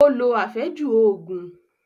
Ó lo àfẹ́jù Ògùn